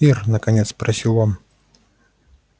ир наконец спросил он